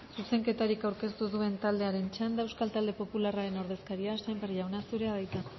zuzenketarik aurkeztu ez duen taldearen txanda euskal talde popularraren ordezkaria sémper jauna zurea da hitza